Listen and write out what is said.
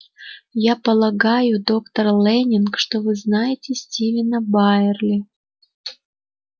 я полагаю доктор лэннинг что вы знаете стивена байерли